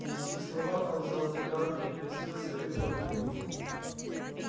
при сих словах он взял стакан перекрестился и выпил одним духом